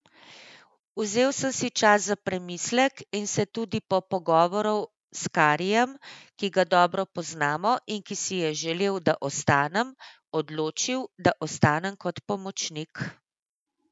Vzel sem si čas za premislek in se tudi po pogovoru s Karijem, ki ga dobro poznamo in ki si je želel, da ostanem, odločil, da ostanem kot pomočnik.